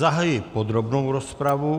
Zahajuji podrobnou rozpravu.